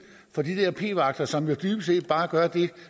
for de der p vagter som jo dybest set bare gør det